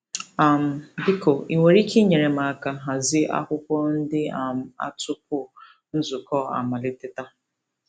um Biko i nwere ike inyere m aka hazie akwụkwọ ndị um a tupu nzukọ amalite taa?